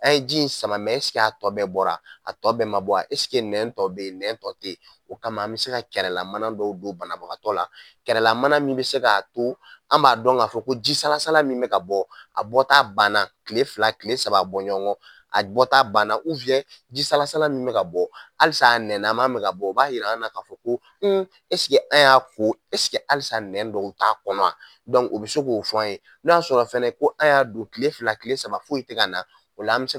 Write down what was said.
An ye ji in sama mɛ ɛsike a tɔ bɛɛ bɔra a tɔ bɛɛ ma bɔ aa esike nɛn tɔ be yen nɛn tɔ te ye nɛn tɔ te yen o kama an be se ka kɛrɛlamanan dɔw don banabagatɔ la kɛrɛlamana min be se k'a to an b'a don k'a ko ji salasala min be ka bɔ a bɔta banna kile fila kila saba bɔɲɔngɔ a bɔta uwiyɛn ji salasala min be ka bɔ alisa a nɛn na man be ka bɔ o b'a yir'an na k'a fɔ n esike an y'a ko esike alisa nɛn dɔw t'a kɔnɔ a dɔnku o be se k'a fo an ye n'o y'a sɔrɔ fɛnɛ ko an y'a don kile fila kile saba foyi te ka na ola an be se